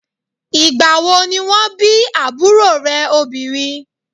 Ìgbà wo ni wọ́n bí àbúrò rẹ̀ obìnrin?